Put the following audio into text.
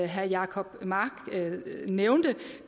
herre jacob mark nævnte